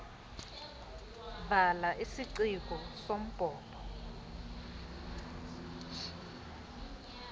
vala isiciko sombhobho